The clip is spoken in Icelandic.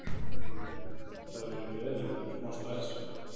Hugrún: Það hefur verið gleðilegt en smá stress?